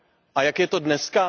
A jak je to dneska?